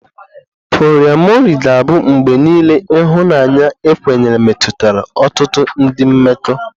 Poliamori ga-abụ mgbe niile ihunanya ekwenyere metụtara ọtụtụ ndị mmekọ.